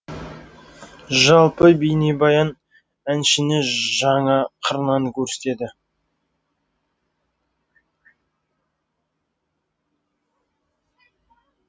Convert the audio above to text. жалпы бейнебаян әншіні жаңа қырынан көрсетеді